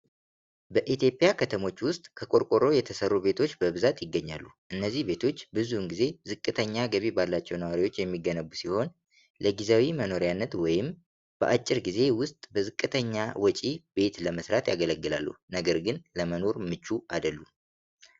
በኢትዮጵያ ከተሞች ውስጥ ከቆርቆሮ የተሠሩ ቤቶች በብዛት ይገኛሉ ። እነዚህ ቤቶች ብዙውን ጊዜ ዝቅተኛ ገቢ ባላቸው ነዋሪዎች የሚገነቡ ሲሆን፣ ለጊዜያዊ መኖሪያነት ወይም በአጭር ጊዜ ውስጥ በዝቅተኛ ወጪ ቤት ለመሥራት ያገለግላሉ። ነገር ግን ለመኖር ምቹ አይደሉም።